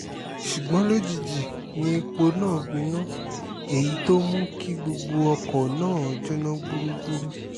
ṣùgbọ́n lójijì ni epo náà gbiná èyí tó mú kí gbogbo ọkọ̀ náà jóná gbúgbúrú